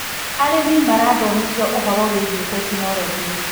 Arĩmi marathomithio ũhoro wĩgie tekinologĩ.